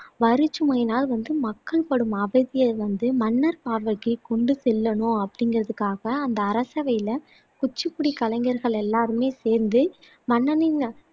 வரிச்சுமையினால் வந்து மக்கள் படும் அவதியை வந்து மன்னர் பார்வைக்கு கொண்டு செல்லனும் அப்படிங்குறதுக்காக அந்த அரசவையில குச்சிப்புடி கலைஞர்கள் எல்லாருமே சேர்ந்து மன்னனின்